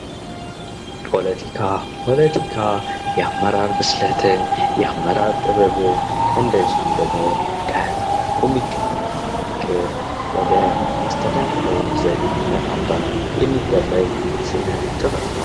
ፖለቲካ፦ ፖለቲካ የአመራር ብስለትን፣ የአመራር ጥበብን እንደዚሁም ደግሞ ከህዝብ የሚገኘውን ፍቅር ወደ አስተዳደራዊ ሂደት በማምጣት የሚደረግ ስነ ጥበብ ነው።